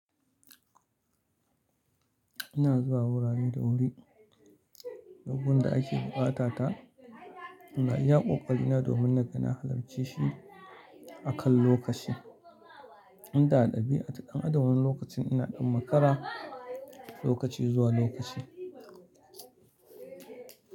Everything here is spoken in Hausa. Ina zuwa wurare da wuri, abubuwan da ake buƙata ta, ina iya ƙoƙa ina domin naga na halarce shi a kan lokaci. Inda a dabi'a, a damanin lokacin ina ɗan makara lokaci zuwa lokaci.